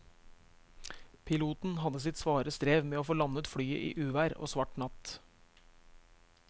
Piloten hadde sitt svare strev med å få landet flyet i uvær og svart natt.